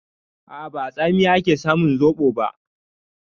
A'a, ba a tsamiya ake samun zoɓo ba.